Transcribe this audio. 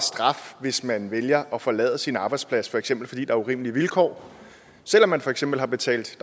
hvis man vælger at forlade sin arbejdsplads for eksempel fordi der er urimelige vilkår selv om man for eksempel har betalt til